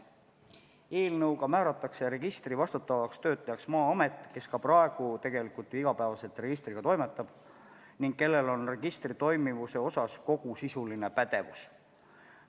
Eelnõuga määratakse registri vastutavaks töötlejaks Maa-amet, kes praegugi tegelikult igapäevaselt registriga toimetab ning kellel on registri toimivuse osas kogu sisuline pädevus.